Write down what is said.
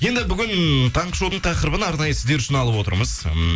енді бүгін таңғы шоудың тақырыбын арнайы сіздер үшін алып отырмыз ммм